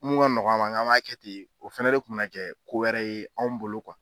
Mun ka nɔgɔ an ma, an k'an b'a kɛ ten o fɛnɛ de kun bɛna kɛ ko wɛrɛ ye anw bolo